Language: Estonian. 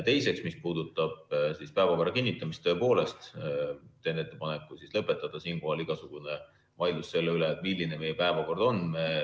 Teiseks, mis puudutab päevakorra kinnitamist, teen ettepaneku lõpetada siinkohal igasugune vaidlus selle üle, milline meie päevakord on.